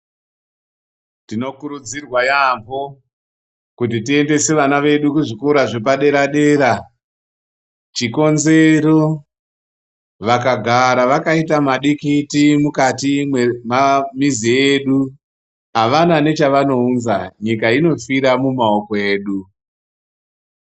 Tinokurudzirwa yaamho kuti tiendese vana vedu kuzvikora zvepadera-dera, chikonzero vakagara vakaite madikiti mukatai mwemamizi edu avana nechavanounza, nyika inofire mumaoko edu.